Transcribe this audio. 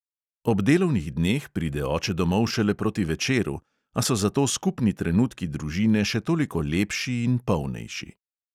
Ob delovnih dneh pride oče domov šele proti večeru, a so zato skupni trenutki družine še toliko lepši in polnejši.